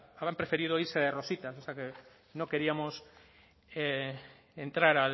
habrán preferido irse de rositas cosa que no queríamos entrar